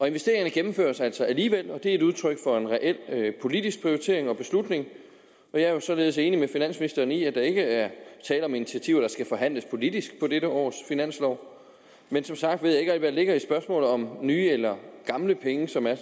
investeringerne gennemføres altså alligevel det er et udtryk for en reel politisk prioritering og beslutning og jeg er jo således enig med finansministeren i at der ikke er tale om initiativer der skal forhandles politisk i dette års finanslov men som sagt ved jeg der ligger i spørgsmålet om nye eller gamle penge som er